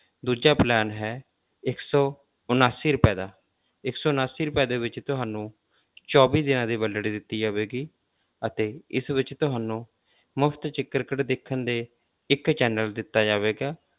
ਦੂਜਾ plan ਹੈ ਇੱਕ ਸੋ ਉਣਾਸੀ ਰੁਪਏ ਦਾ ਇੱਕ ਸੌ ਉਣਾਸੀ ਰੁਪਏ ਦੇ ਵਿੱਚ ਤੁਹਾਨੂੰ ਚੌਵੀ ਦਿਨਾਂ ਦੀ validity ਦਿੱਤੀ ਜਾਵੇਗੀ ਅਤੇ ਇਸ ਵਿੱਚ ਤੁਹਾਨੂੰ ਮੁਫ਼ਤ 'ਚ ਕ੍ਰਿਕਟ ਦੇਖਣ ਦੇ ਇੱਕ channel ਦਿੱਤਾ ਜਾਵੇਗਾ।